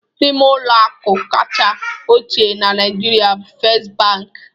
N'ime ụlọ akụ kacha ochie na Naịjirịa bụ First Bank